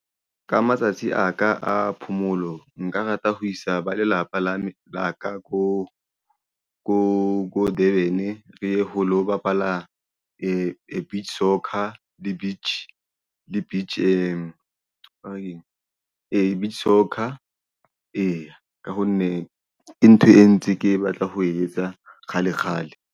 Ka matsatsi a ka a phomolo nka rata ho isa ba lelapa la ka ko Durban re ye ho lo bapala beach soccer le beach soccer ha na ke eng beach soccer eya ka ha nne ke ntho e ntse ke batla ho etsa kgale kgale.